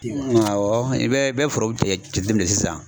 Awɔ i bɛ i bɛ foro tigɛ jateminɛ sisan